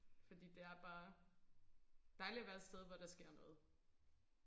fordi det er bare dejligt at være et sted hvor der sker noget